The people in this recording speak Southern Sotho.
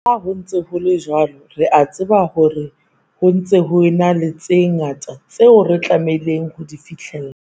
Le ha ho ntse ho le jwalo, re a tseba hore ho ntse ho ena le tse ngata tseo re tlamehang ho di fihlella.